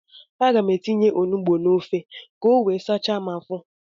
Aga m etinye onugbu n'ofe ka o wee sachaa m afọ.